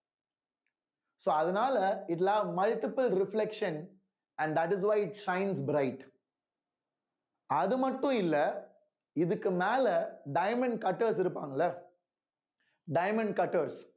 so அதனால it will have multiple reflection and that is why shines bright அது மட்டும் இல்ல இதுக்கு மேல diamond cutters இருப்பாங்கல்ல diamond cutters